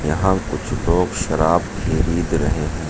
यहां कुछ लोग शराब खरीद रहे हैं।